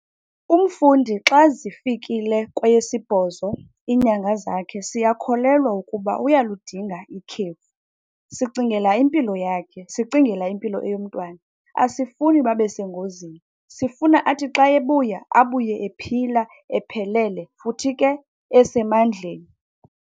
Umfundi xa zifikile kweyesibhozo iinyanga zakhe, siyakholelwa ukuba uyaludinga ikhefu. Sicingela impilo yakhe, sicingela impilo eyomntwana, asifuni babe sengozini. Sifuna athi xa ebuya, abuye ephila, ephelele futhi ke esemandleni.